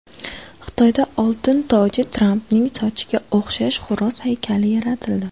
Xitoyda oltin toji Trampning sochiga o‘xshash xo‘roz haykali yaratildi .